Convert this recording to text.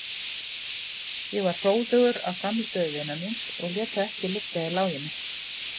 Ég var hróðugur af frammistöðu vinar míns og lét það ekki liggja í láginni.